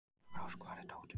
Daggrós, hvar er dótið mitt?